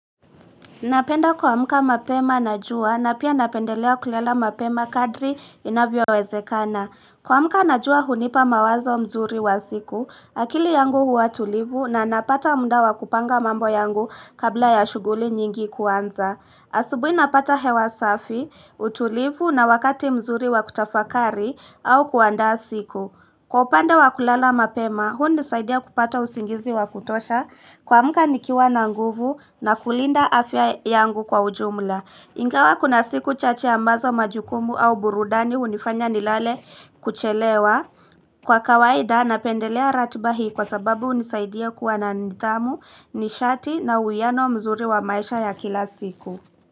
Napenda kuamka mapema na jua na pia napendelea kulala mapema kadri inavyo wezekana. Kwa muka na jua hunipa mawazo mzuri wa siku, akili yangu huwa tulivu na napata munda wakupanga mambo yangu kabla ya shuguli nyingi kuanza. Asubuhi napata hewa safi, utulivu na wakati mzuri wakutafakari au kuandaa siku. Kwa upande wa kulala mapema, hunisaidia kupata usingizi wa kutosha kwa muka nikiwa na nguvu na kulinda afya yangu kwa ujumla. Ingawa kuna siku chache ambazo majukumu au burudani unifanya nilale kuchelewa. Kwa kawaida napendelea ratiba hii kwa sababu unisaidia kuwa na nidhamu nishati na uiano mzuri wa maisha ya kila siku.